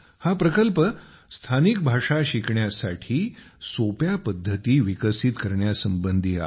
हा प्रकल्प स्थानिक भाषा शिकण्यासाठी सोप्या पद्धती विकसित करण्यासंबंधी आहे